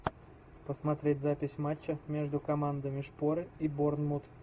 посмотреть запись матча между командами шпоры и борнмут